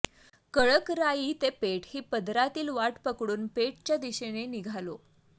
कळकराई ते पेठ ही पदरातली वाट पकडून पेठच्या दिशेने निघालो